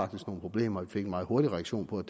problemer det fik meget hurtig reaktion på at